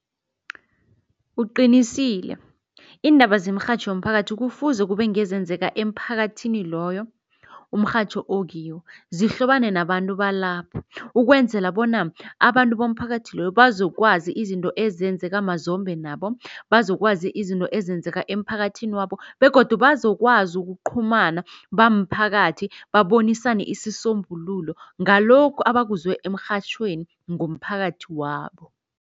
Uqinisile, iindaba zemrhatjho yomphakathi kufuze kube ngezenzeka emphakathini loyo umrhatjho okiwo, zihlobane nabantu balapha ukwenzela bona abantu bomphakathi loyo bazokwazi izinto ezenzeka mazombe nabo, bazokwazi izinto ezenzeka emphakathini wabo begodu bazokwazi ukuqhumana bamphakathi babonisane isisombululo ngalokhu abakuzwe emrhatjhweni ngomphakathi wabo.